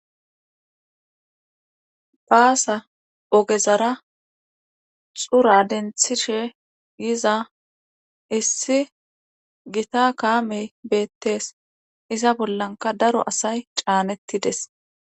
Baasa ogezara xura denthishe yiza issi gita kaame beetees. Iza bollakka daro asay caanetides.